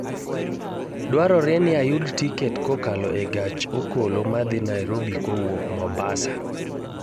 dwarore ni ayud tiket kokalo e gach okoloma dhi nairobi kowuok mombasa